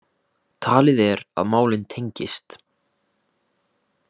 Talið er að málin tengist